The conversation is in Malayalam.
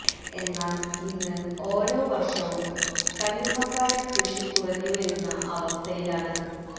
എന്നാല് ഇന്ന് ഓരോ വര്ഷവും കല്ലുമ്മക്കായ കൃഷി കുറഞ്ഞുവരുന്ന അവസ്ഥയിലാണ്